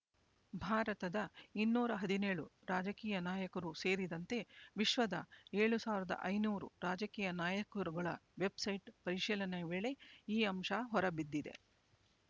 ಭಾರತದ ಇನ್ನೂರ ಹದಿನೇಳು ರಾಜಕೀಯ ನಾಯಕರೂ ಸೇರಿದಂತೆ ವಿಶ್ವದ ಏಳು ಸಾವಿರದ ಐನೂರು ರಾಜಕೀಯ ನಾಯಕರುಗಳ ವೆಬ್‌ಸೈಟ್ ಪರಿಶೀಲನೆ ವೇಳೆ ಈ ಅಂಶ ಹೊರ ಬಿದ್ದಿದೆ